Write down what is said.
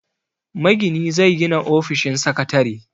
Magini zai gina ofishin sakatare.